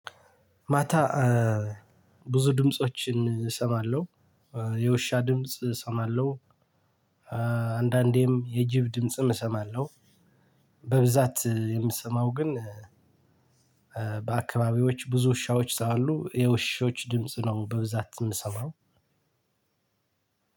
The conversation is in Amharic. ማታ ብዙ ድምፆችን እሰማለሁ። የውሻ ድምጽ እሰማለሁ። አንዳንዴም የጅብ ድምጽም እሰማለሁ። በብዛት የምትሰማው ግን በአካባቢዮች ብዙ ውሻዎች ስላሉ የውሾች ድምጽ ነው በብዛት የምሰማው።